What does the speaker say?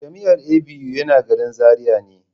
Jami'ar ABU yana garin Zaria ne.